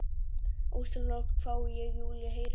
Ósjálfrátt hvái ég en Júlía heyrir ekki.